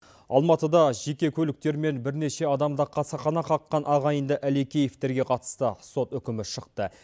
алматыда жеке көліктерімен бірнеше адамды қасақана қаққан ағайынды әлекеевтерге қатысты сот үкімі шықты